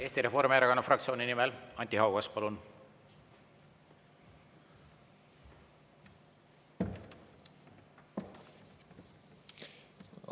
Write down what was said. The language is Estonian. Eesti Reformierakonna fraktsiooni nimel Anti Haugas, palun!